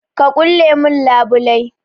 Ka ƙulle mun labulai.